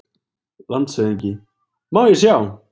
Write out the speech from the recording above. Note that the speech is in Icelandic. LANDSHÖFÐINGI: Má ég sjá?